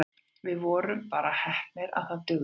Við vorum bara heppnir og það dugði.